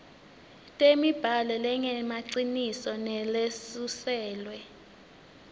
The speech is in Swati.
temibhalo lengemaciniso nalesuselwe